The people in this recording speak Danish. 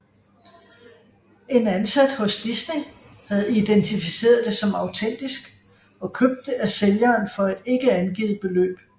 En ansat hos Disney havde identificeret det som autentisk og købt det af sælgeren for et ikke angivet beløb